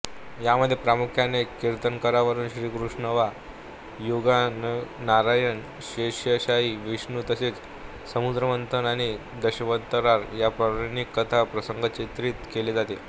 यामध्ये प्रामुख्याने कार्तिकवरूणश्रीकृष्णवायूअग्निनारायणशेषशायी विष्णू तसेच समुद्रमंथन आणि दशावतार या पौराणिक कथा प्रसंग चित्रीत केले आहे